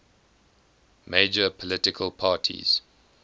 major political parties